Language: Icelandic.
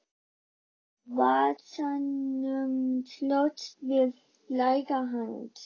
Byssan í vasanum slóst við læri hans.